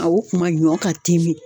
A o kuma ɲɔn ka timin.